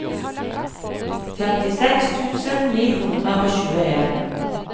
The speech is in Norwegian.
femtiseks tusen ni hundre og tjueen